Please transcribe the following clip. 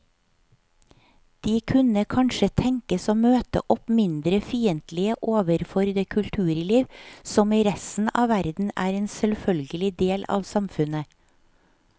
De kunne kanskje tenkes å møte opp mindre fiendtlige overfor det kulturliv som i resten av verden er en selvfølgelig del av samfunnet.